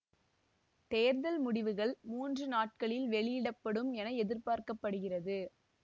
தேர்தல் முடிவுகள் மூன்று நாட்களில் வெளியிட படும் என எதிர்பார்க்க படுகிறது